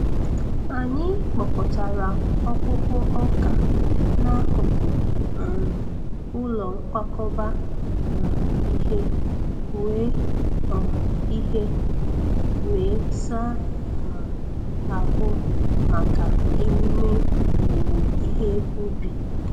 Anyị kpokọtara ọkpụkpụ ọka n’akụkụ um ụlọ nkwakọba um ihe, wee um ihe, wee saa um ahụ maka emume owuwe ihe ubi.